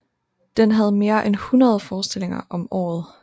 Den havde mere end 100 forestillinger om året